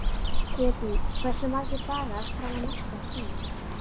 Hedí, hversu margir dagar fram að næsta fríi?